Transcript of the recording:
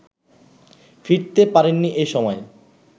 ফিরতে পারেননি এ সময়ে